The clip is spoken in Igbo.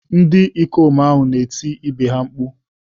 Ndị ikom ahụ na-eti ibe ha mkpu.